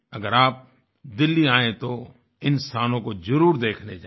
अगर आप दिल्ली आएँ तो इन स्थानों को ज़रूर देखने जाए